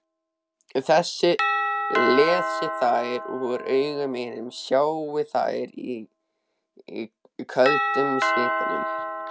Lesi þær úr augum mínum, sjái þær í köldum svitanum.